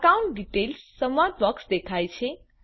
account details સંવાદ box દેખાય છે